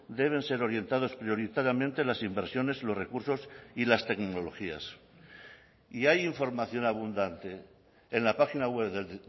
deben ser orientados prioritariamente las inversiones los recursos y las tecnologías y hay información abundante en la página web del